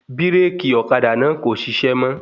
Bíràkì Ọ́kadà náà kò ṣiṣẹ́ mọ́